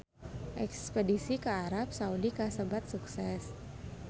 Espedisi ka Arab Saudi kasebat sukses